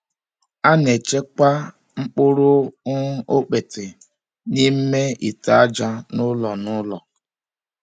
A na-echekwa mkpụrụ um okpete n’ime ite aja n’ụlọ. n’ụlọ.